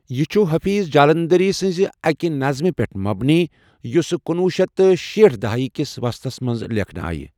یہٕ چھُ حَفیظ جلیلندری سٕنٛزِ اَکہ نظمہِ پؠٹھ مبنی یۄسہ کُنوہ شیتھ تہٕ شیٹھ دہٲیی کس وسطس مَنٛز لیکھنہٕ آیہ